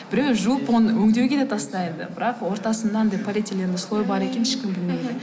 біреуі жуып оны өңдеуге де тастайды бірақ ортасында анадай полиэтиленовый слой бар екенін ешкім білмейді мхм